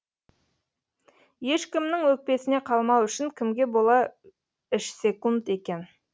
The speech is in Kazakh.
ешкімнің өкпесіне қалмау үшін кімге бола ішсекунд екен